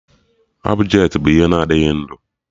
Ọbjetị bụ ihe na-adịghị ndụ